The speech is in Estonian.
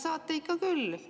Saate ikka küll!